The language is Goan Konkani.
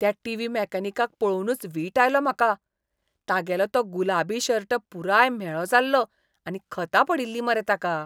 त्या टीव्ही मॅकॅनिकाक पळोवनूच वीट आयलो म्हाका. तागेलो तो गुलाबी शर्ट पुराय म्हेळो जाल्लो आनी खतां पडिल्लीं मरे ताका.